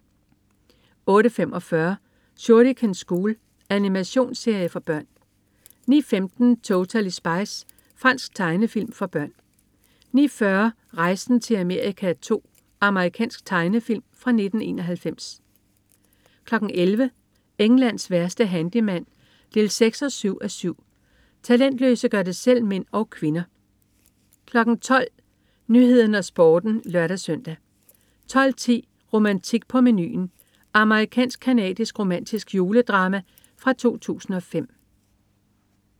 08.45 Shuriken School. Animationsserie for børn 09.15 Totally Spies. Fransk tegnefilm for børn 09.40 Rejsen til Amerika II. Amerikansk tegnefilm fra 1991 11.00 Englands værste handyman 6-7:7. Talentløse gør det selv-mænd og -kvinder 12.00 Nyhederne og Sporten (lør-søn) 12.10 Romantik på menuen. Amerikansk-canadisk romantisk juledrama fra 2005